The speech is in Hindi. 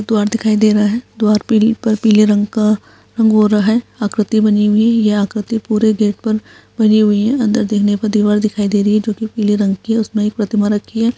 द्वारा दिखाई दे रहा है द्वार पे पीले रंग का रंग हो रहा है आकृति बनी हुई है ये आकृति पूरे गेट पर बनी हुई है अंदर देखने पर दीवार दिखाई दे रही है जो की पीले रंग की है उसमें एक प्रतिमा रखी है।